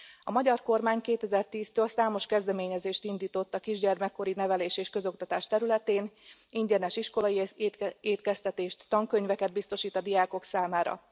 A magyar kormány 2010 től számos kezdeményezést indított a kisgyermekkori nevelés és közoktatás területén, ingyenes iskolai étkeztetést, tankönyveket biztosít a diákok számára.